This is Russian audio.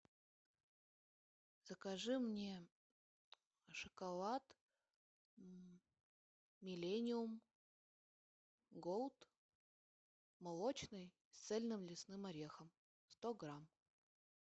закажи мне шоколад миллениум голд молочный с цельным лесным орехом сто грамм